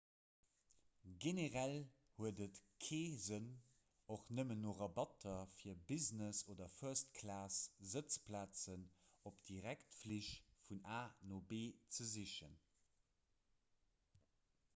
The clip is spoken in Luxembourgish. generell huet et kee sënn och nëmmen no rabatter fir business oder first-class-sëtzplazen op direktflich vun a no b ze sichen